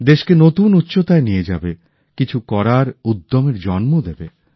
দেশকে নতুন উচ্চতায় নিয়ে যাবে কিছু করার উদ্যমের জন্ম দেবে